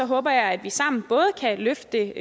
håber jeg at vi sammen både kan løfte